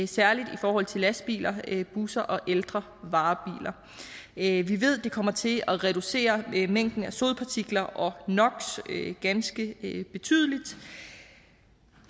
særligt i forhold til lastbiler busser og ældre varebiler vi vi ved at det kommer til at reducere mængden af sodpartikler og nox ganske betydeligt